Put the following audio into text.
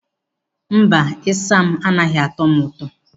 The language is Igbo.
Mba, isam anaghị atọ m ụtọ.